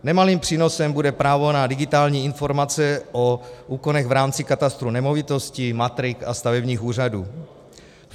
Nemalým přínosem bude právo na digitální informace o úkonech v rámci katastru nemovitostí, matrik a stavebních úřadů.